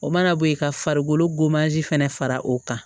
O mana bo ye ka farikolo fɛnɛ fara o kan